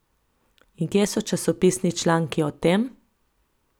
In kje so časopisni članki o tem?